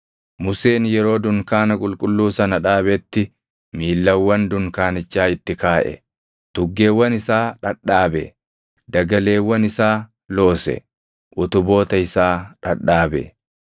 Museen yeroo dunkaana qulqulluu sana dhaabetti miillawwan dunkaanichaa itti kaaʼe; tuggeewwan isaa dhadhaabe; dagaleewwan isaa loose; utuboota isaa dhadhaabe.